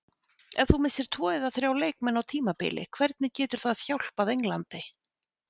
Ef þú missir tvo eða þrjá leikmenn á tímabili hvernig getur það hjálpað Englandi?